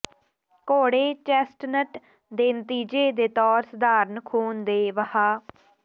ਘੋੜੇ ਚੈਸਟਨਟ ਦੇ ਨਤੀਜੇ ਦੇ ਤੌਰ ਸਧਾਰਨ ਖ਼ੂਨ ਦੇ ਵਹਾਅ